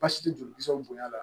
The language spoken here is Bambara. Basi tɛ jolikisɛw bonya na